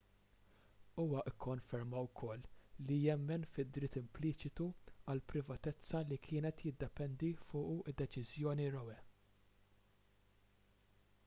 huwa kkonferma wkoll li jemmen fid-dritt impliċitu għall-privatezza li kienet tiddependi fuqu d-deċiżjoni roe